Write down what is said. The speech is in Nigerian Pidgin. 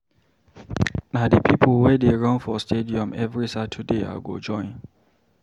Na di pipo we dey run for stadium every Saturday I go join.